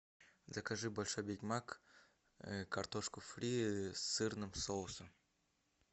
закажи большой биг мак картошку фри с сырным соусом